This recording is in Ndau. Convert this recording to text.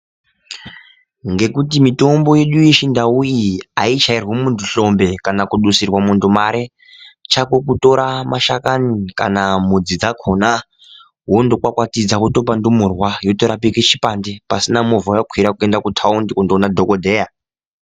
Ngekuti mitombo yedu yechindau iyi aichairwi muntu hlombe kana kudusirwa muntu mare, chako kutora mashakani kana mudzi dzkhona, wotokwakwatidza wotopa ndumurwa, yotorapike chipande pasina movha yawakwira kuende kutaundi kunoone dhogodheya.